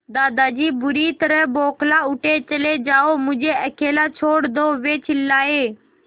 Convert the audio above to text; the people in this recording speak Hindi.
दादाजी बुरी तरह बौखला उठे चले जाओ मुझे अकेला छोड़ दो वे चिल्लाए